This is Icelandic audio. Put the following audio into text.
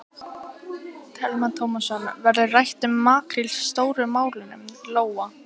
Telma Tómasson: Verður rætt um makríl Stóru málunum, Lóa?